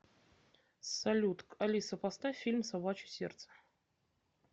салют алиса поставь фильм собачье сердце